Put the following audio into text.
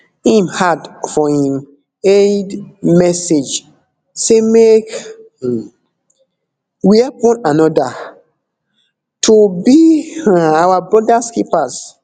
im add for im eid message say make we help one anoda to be our brothers keepers